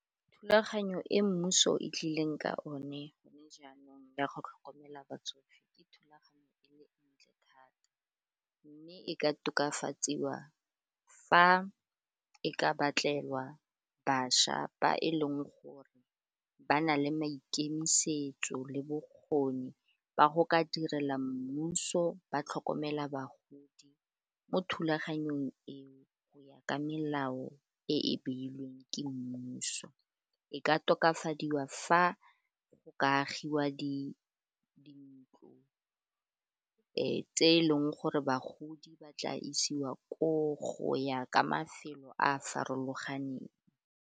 Thulaganyo e mmuso e tlileng ka one gone jaanong ya go tlhokomela batsofe ke thulaganyo e le ntle thata mme e ka tokafatsiwa fa e ka batlelwa bašwa ba e leng gore ba na le maikemisetso le bokgoni ba go ka direla mmuso ba tlhokomela bagodi mo thulaganyong eo, go ya ka melao e e beilweng ke mmuso e ka tokafadiwa fa go ka agiwa di ntlo tse e leng gore bagodi ba tla isiwa koo go ya ka mafelo a a farologaneng.